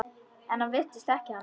En hann virðist þekkja hana.